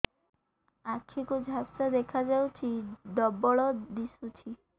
ଆଖି କୁ ଝାପ୍ସା ଦେଖାଯାଉଛି ଡବଳ ଦିଶୁଚି